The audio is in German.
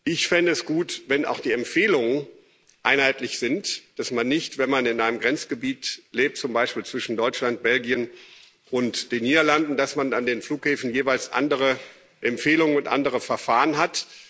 Ich fände es gut, wenn auch die Empfehlungen einheitlich sind, dass man nicht, wenn man in einem Grenzgebiet lebt zum Beispiel zwischen Deutschland, Belgien und den Niederlanden an den Flughäfen jeweils andere Empfehlungen und andere Verfahren